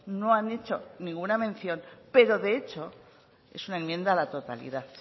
no han hecho ninguna mención pero de hecho es una enmienda a la totalidad